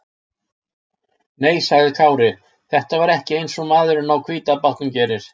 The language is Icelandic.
Nei, sagði Kári, þetta var ekki eins og maðurinn á hvíta bátnum gerir.